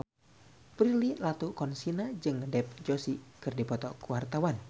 Prilly Latuconsina jeung Dev Joshi keur dipoto ku wartawan